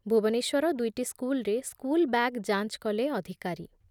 ଭୁବନେଶ୍ବର ଦୁଇଟି ସ୍କୁଲ୍‌ରେ school bag ଯାଞ୍ଚ୍ କଲେ ଅଧିକାରୀ